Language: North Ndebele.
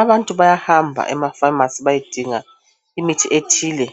Abantu bayahamba emafamasi bayedinga imithi ethile,